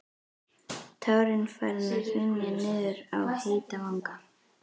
Tárin farin að hrynja niður á heita vanga.